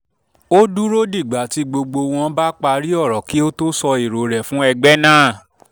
ó dúró dìgbà tí gbogbo wọn bá parí ọ̀rọ̀ kí ó tó sọ èrò rẹ̀ fún rẹ̀ fún ẹgbẹ́ náà